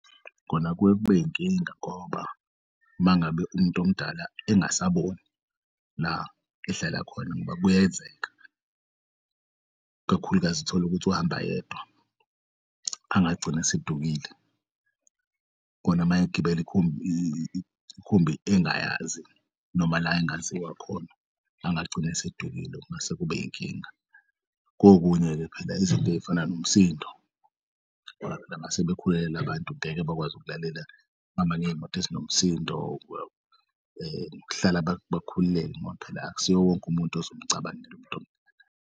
Kona kuye kube yinkinga ngoba mangabe umtomdala engasaboni la ehlala khona ngoba kuyenzeka kakhulukazi tholukuthi uhamba yedwa angagcini esedukile khona mayegibeli ikhumb'ngayazi noma la engaziwa khona angagcin'esedukile masekubayinkinga. Kokunye-ke phela izinto ey'fana nomsindo mase bekhululekile abantu ngeke bakwazi ukulalela behamba ngey'moto ezinomsindo kuhlala bakhululeke ngoba phela akusiye wonke umuntu ozomcabangela .